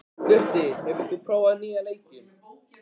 Gutti, hefur þú prófað nýja leikinn?